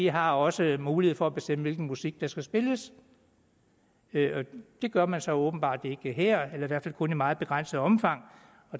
har også mulighed for at bestemme hvilken musik der skal spilles det gør man så åbenbart ikke her eller i hvert fald kun i meget begrænset omfang